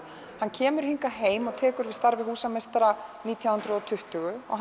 hann kemur hingað heim og tekur við starfi húsameistara nítján hundruð og tuttugu og